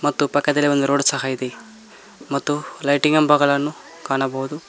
ಮತ್ತು ಪಕ್ಕದಲ್ಲೇ ಒಂದು ರೋಡ್ ಸಹ ಇದೆ ಮತ್ತು ಲೈಟಿಂಗಬಗಳನ್ನು ಕಾಣಬಹುದು.